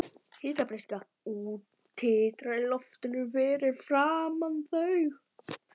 Hitabreyskjan titrar í loftinu fyrir framan þau.